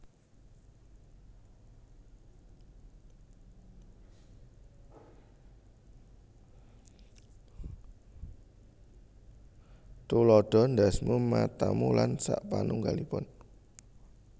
Tuladha ndhasmu matamu lan sapanungggalipun